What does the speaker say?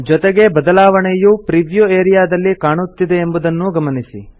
ಜೊತೆಗೆ ಬದಲಾವಣೆಯು preview area ದಲ್ಲಿ ಕಾಣುತ್ತಿದೆ ಎಂಬುದನ್ನೂ ಗಮನಿಸಿ